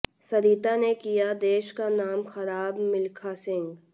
सरिता ने किया देश का नाम खराबः मिल्खा सिंह